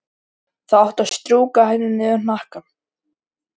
Þá áttu að strjúka henni niður hnakkann.